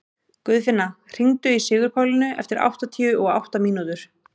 Guðfinna, hringdu í Sigurpálínu eftir áttatíu og átta mínútur.